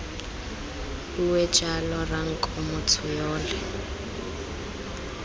bue jalo ranko motho yole